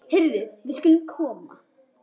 Heyrðu, við skulum koma.